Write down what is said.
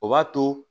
O b'a to